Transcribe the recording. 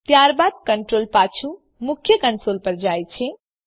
ત્યારબાદ કન્ટ્રોલ પાછું મુખ્ય કંસોલ પર જાય છે